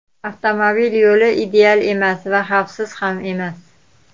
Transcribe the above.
Avtomobil yo‘li ideal emas va xavfsiz ham emas.